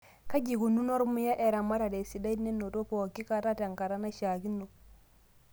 Kaji eikununo ormuya aramata esidai nenoto pookitoki te nkata naishaakino.